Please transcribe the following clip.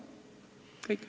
Kõik.